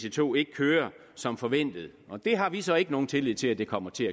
ic2 ikke kører som forventet og det har vi så ikke nogen tillid til at de kommer til